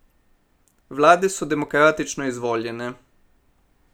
Vlade so demokratično izvoljene.